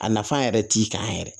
A nafan yɛrɛ t'i kan yɛrɛ